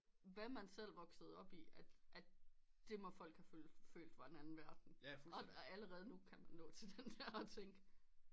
Hvad men selv voksede op i at at det må folk have følt var en anden verden og allerede nu kan man nå til den at tænke